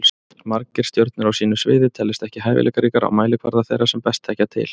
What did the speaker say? Margir stjörnur á sínu sviði teljast ekki hæfileikaríkar á mælikvarða þeirra sem best þekkja til.